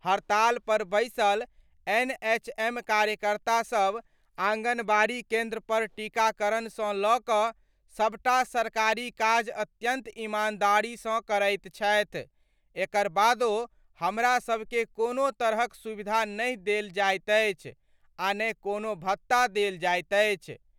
हड़ताल पर बैसल एनएचएम कार्यकर्ता सब आंगनबाड़ी केंद्र पर टीकाकरण सं ल' क' सबटा सरकारी काज अत्यंत ईमानदारी सं करैत छथि, एकर बादो हमरा सब के कोनो तरहक सुविधा नहि देल जाइत अछि, आ ने कोनो भत्ता देल जाइत अछि।